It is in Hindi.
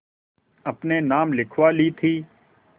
अपने नाम लिखवा ली थी